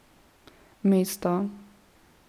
Mesto.